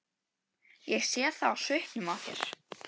Ég sé það á svipnum á þér.